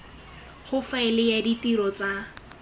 go faela ya ditiro tsa